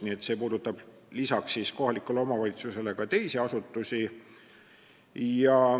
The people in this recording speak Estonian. Nii et see puudutab lisaks kohalikule omavalitsusele ka teisi asutusi.